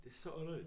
Det så underligt